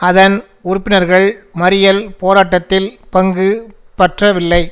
அதன் உறுப்பினர்கள் மறியல் போராட்டத்தில் பங்குபற்றவில்லை